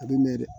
A b'i mɛn dɛ